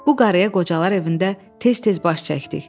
Bu qarıya qocalar evində tez-tez baş çəkdik.